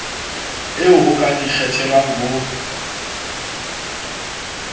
eo ho ka ikgethelwang ho